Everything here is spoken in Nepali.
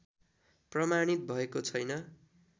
प्रमाणित भएको छैन